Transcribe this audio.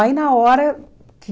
Aí na hora que...